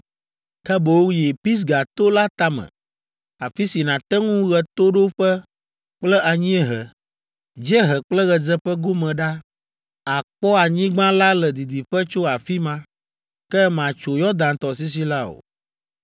ke boŋ yi Pisga to la tame, afi si nàte ŋu ɣetoɖoƒe kple anyiehe, dziehe kple ɣedzeƒe gome ɖa; àkpɔ anyigba la le didiƒe tso afi ma. Ke màtso Yɔdan tɔsisi la o.